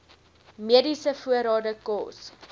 mediese voorrade kos